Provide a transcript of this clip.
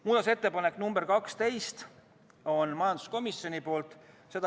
Muudatusettepanek nr 12 on majanduskomisjonilt.